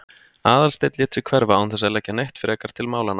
Aðalsteinn lét sig hverfa án þess að leggja neitt frekar til málanna.